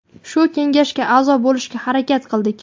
shu kengashga a’zo bo‘lishga harakat qildik.